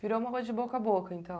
Virou uma coisa de boca a boca, então.